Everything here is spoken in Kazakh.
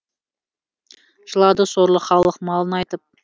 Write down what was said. жылады сорлы халық малын айтып